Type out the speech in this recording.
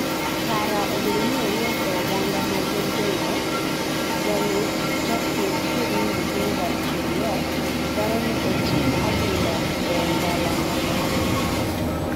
kara obedoni owuok e oganda ma gin jongwech ,jalupjakudh firimbi Gilbert Cheruiyot dwaroni oting adhula e ongala mamalo